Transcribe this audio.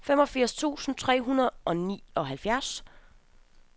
femogfirs tusind tre hundrede og nioghalvfjerds